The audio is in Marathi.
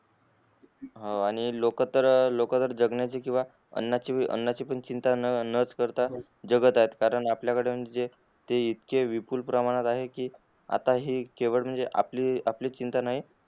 हा लोक तर जगण्याची किव्हा जगण्याची किव्हा आणाची पण चिंता न च करता जगत आहेत कारण आपल्याकडून जे हे इतके विपुल प्रमाणात आहे कि आता हे केवळ आपली आपली चिंता नाही